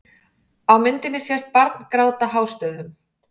Á myndinni sést barn gráta hástöfum.